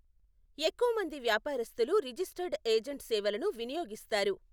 ఎక్కువ మంది వ్యాపారస్థులు రిజిస్టర్డ్ ఏజెంట్ సేవలను వినియోగిస్తారు.